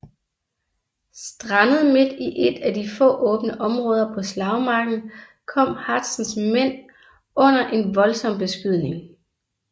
Strandet midt i et af de få åbne områder på slagmarken kom Hazens mænd under en voldsom beskydning